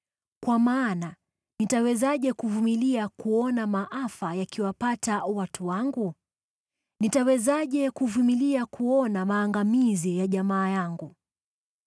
Kwa maana nitawezaje kuvumilia kuona maafa yakiwapata watu wangu? Nitawezaje kuvumilia kuona maangamizi ya jamaa yangu?”